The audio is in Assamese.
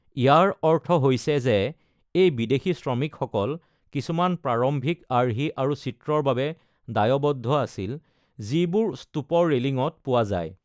ইয়াৰ অৰ্থ হৈছে যে এই বিদেশী শ্ৰমিকসকল কিছুমান প্ৰাৰম্ভিক আৰ্হি আৰু চিত্ৰৰ বাবে দায়বদ্ধ আছিল যিবোৰ স্তূপৰ ৰেলিঙত পোৱা যায়।